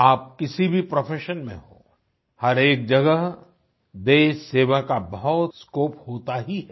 आप किसी भी प्रोफेशन में हों हरएक जगह देशसेवा का बहुत स्कोप होता ही है